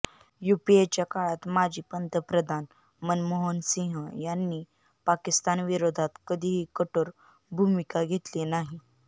युपीएच्या काळात माजी पंतप्रधान मनमोहनसिंह यांनी पाकिस्तान विरोधात कधीही कठोर भूमिका घेतली नाही